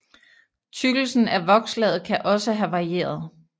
Tykkelsen af vokslaget kan også have varieret